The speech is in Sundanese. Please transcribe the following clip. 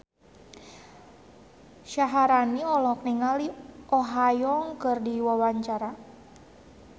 Syaharani olohok ningali Oh Ha Young keur diwawancara